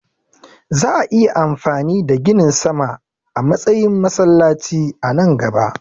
Za'a iya amfani da ginin sama a matsayin masallaci a nan gaba.